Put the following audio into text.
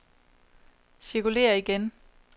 cirkulér igen